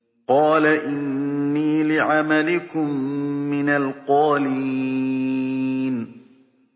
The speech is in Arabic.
قَالَ إِنِّي لِعَمَلِكُم مِّنَ الْقَالِينَ